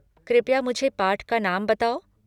कृपया मुझे पाठ का नाम बताओ।